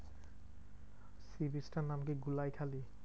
Sea beach টার নাম কি? গুলিয়াখালী?